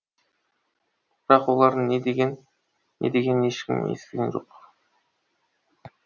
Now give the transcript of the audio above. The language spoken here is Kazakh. бірақ олардың не дегенін ешкім естіген жоқ